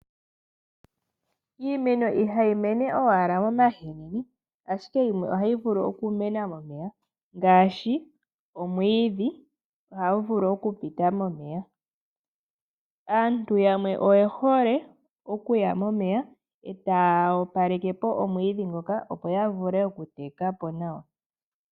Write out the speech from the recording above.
Iimeno ihayi mene owala momahini ashike yimwe ohayi vulu okumena momeya ngaashi omwiidhi ohagu vulu okupita momeya, aantu yamwe oyehole okuya momeya eta opalekepo omwiidhi ngoka opo ya vule okuteka po nawa.